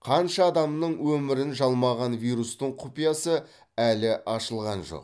қанша адамның өмірін жалмаған вирустың құпиясы әлі ашылған жоқ